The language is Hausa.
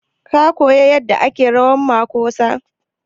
Ka koya yadda ake rawan makosa?